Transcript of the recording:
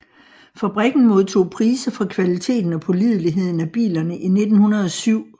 Fabrikken modtog priser for kvaliteten og pålideligheden af bilerne i 1907